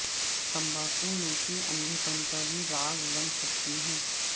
تمباکو نوشی اندھے پن کا بھی باعث بن سکتی ہے